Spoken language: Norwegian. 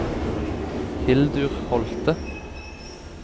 Hildur Holthe